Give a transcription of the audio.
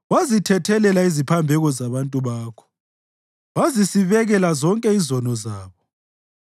Wazithethelela iziphambeko zabantu bakho wazisibekela zonke izono zabo.